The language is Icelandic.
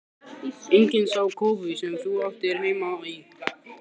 Enginn smá kofi sem þú átti heima í!